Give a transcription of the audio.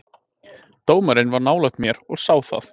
Dómarinn var nálægt mér og sá það.